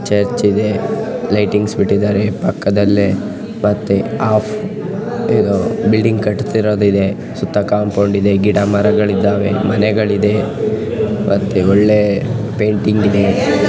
Church ಇದೆ. Lightings ಬಿಟ್ಟಿದ್ದಾರೆ ಪಕ್ಕದಲ್ಲೆ ಮತ್ತೆ ಅಪ್ ಇದು ಬಿಲ್ಡಿಂಗ್ ಕಟ್ಟತಿರೋದು ಇದೆ ಸುತ್ತ ಕಾಂಪೌಂಡ್ ಇದೆ. ಗಿಡ ಮರಗಳಿದ್ದಾವೆ ಮನೆಗಳಿದೆ ಮತ್ತೆ ಒಳ್ಳೆ ಪೇಂಟಿಂಗ್ ಇದೆ.